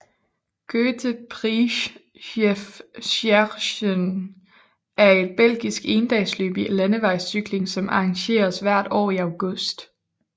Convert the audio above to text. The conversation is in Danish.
Grote Prijs Jef Scherens er et belgisk endagsløb i landevejscykling som arrangeres hvert år i august